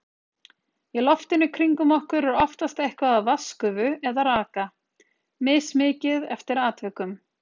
Í loftinu kringum okkur er oftast eitthvað af vatnsgufu eða raka, mismikið eftir atvikum.